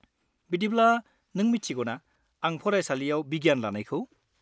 -बिदिब्ला नों मिथिगौना आं फरायसालियाव बिगियान लानायखौ?